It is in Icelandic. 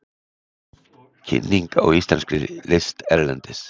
Kynning á íslenskri list erlendis